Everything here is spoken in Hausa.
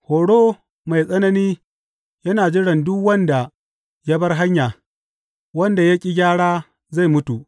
Horo mai tsanani yana jiran duk wanda ya bar hanya; wanda ya ƙi gyara zai mutu.